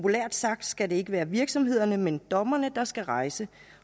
sagt skal det ikke være virksomhederne men dommerne der skal rejse